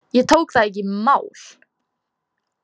Ég tók það ekki í mál.